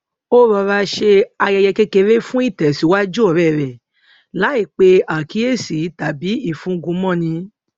ó rọra ṣe ayẹyẹ kékeré fún ìtèsíwájú òré rè láì pe àkíyèsí tàbí ìfúngun mọ ni